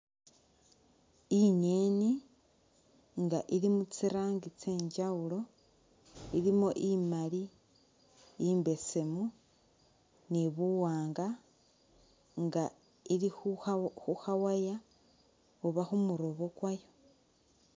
Inyeni inga ilimitsirangi tsenjawulo ilimo imali imbesemu ni buwanga inga ilikhukha wire oba khumurobo kwayo.